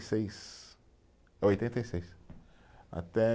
seis, eh oitenta e seis, até